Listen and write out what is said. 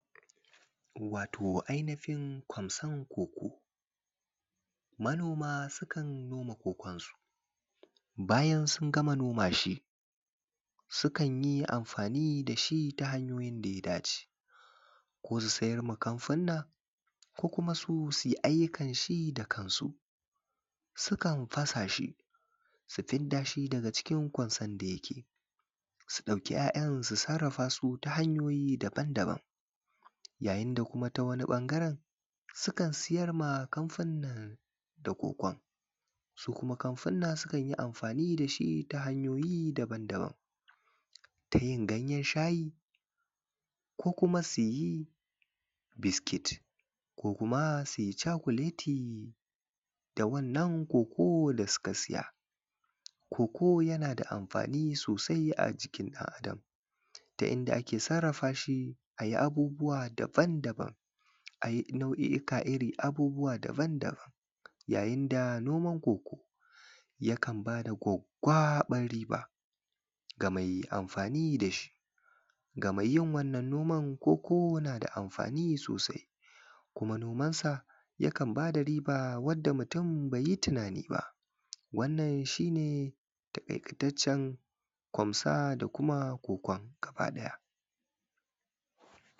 wato ainifin ƙwanson coco manoma sukan noma coconsu bayan sun gama noma shi sukan yi amfani da shi ta hanyoyin da ya dace ko su siyarwa kamfanunuwa ko kuma su su yi ayyukan shi da kansu sukan fasa shi su fidda shi daga cikin ƙwansan da yake su ɗauki ‘ya’ya su sarrafa shi ta hanyoyi daban daban yayin da kuma ta wani ɓangaren sukan siyarwa kafanunuwan da cocon su kuma kamfunan sukan yi amfani da shi ta hanyoyi daban daban ta yin ganyen shayi ko kuma su yi biskit ko kuma su yi cakuleti da wannan coco da suka siya coco yana da amfani sosai a jikin ɗan adam ta inda ake sarrafashi a yi abubuwa daban daban nau’i’ikan abubuwa daban daban yayin da noman coco yakan ba da gwaggwaɓan riba ga mai amfani da shi ga mai yin wannan noman coco na da amfani sosai kuma nomansa yakan ba da riba wadda mutum bai yi tunani ba wannan shi ne taƙaitaccen ƙwonson da kuma coco gaba ɗaya